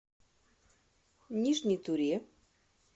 нижней туре